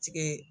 Tigɛ